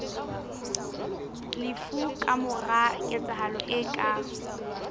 lefu kamora ketsahalo e ka